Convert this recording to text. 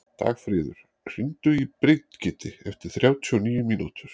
Dagfríður, hringdu í Brigiti eftir þrjátíu og níu mínútur.